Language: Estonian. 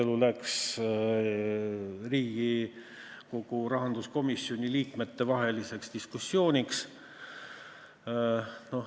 Siis läks Riigikogu rahanduskomisjoni liikmete vahel diskussiooniks.